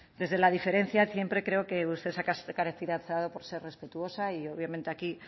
desde la diferencia siempre creo que usted se ha caracterizado por ser respetuosa y obviamente aquí